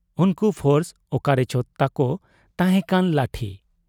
ᱩᱱᱠᱩ ᱯᱷᱚᱨᱥ ᱚᱠᱟᱨᱮᱪᱚ ᱛᱟᱠᱚ ᱛᱟᱦᱮᱸᱠᱟᱱ ᱞᱟᱴᱷᱤ ᱾